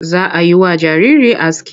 Za a yi wa jariri aski.